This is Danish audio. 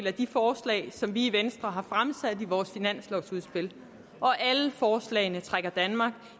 af de forslag som vi i venstre har fremsat i vores finanslovudspil og alle forslagene trækker danmark